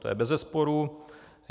To je beze sporu.